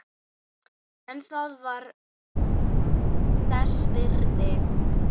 En það var þess virði.